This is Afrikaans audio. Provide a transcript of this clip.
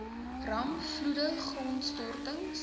rampe vloede grondstortings